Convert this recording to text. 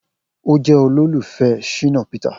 O jẹ olufẹ Shina Peter.